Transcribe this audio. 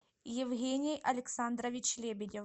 евгений александрович лебедев